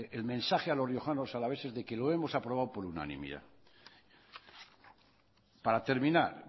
el mensaje a los riojanos alaveses de que lo hemos aprobado por unanimidad para terminar